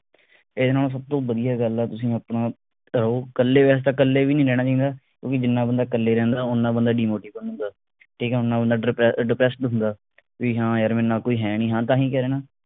ਇਹ ਨੋ ਸਭ ਤੋਂ ਵਧੀਆ ਗੱਲ ਆ ਤੁਸੀ ਆਪਣਾ ਰਹੋ ਕੱਲੇ ਐ ਤੇ ਕੱਲੇ ਵੀ ਨਹੀਂ ਰਹਿਣਾ ਚਾਹੀਦਾ ਕਿਉਂਕਿ ਜਿਨ੍ਹਾਂ ਬੰਦਾ ਕੱਲੇ ਰਹਿੰਦਾ ਉਨ੍ਹਾਂ ਬੰਦਾ demotivate ਹੁੰਦਾ ਠੀਕ ਆ ਉਨ੍ਹਾਂ ਬੰਦਾ depressed ਹੁੰਦਾ ਬਈ ਹਾਂ ਯਾਰ ਮੇਰੇ ਨਾਲ ਕੋਈ ਹੈ ਨਹੀ ਤਾਂ ਹੀ ਕਹਿ ਰਿਹਾ ਨਾ